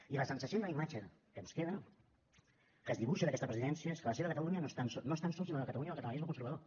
i la sensació i la imatge que ens queda que es dibuixa d’aquesta presidència és que la seva catalunya no és tan sols ni la catalunya del catalanisme conservador